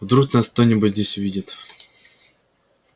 вдруг нас кто-нибудь здесь увидит